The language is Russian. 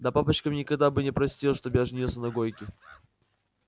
да папочка мне никогда бы не простил чтоб я женился на гойке